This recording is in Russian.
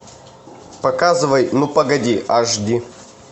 показывай ну погоди аш ди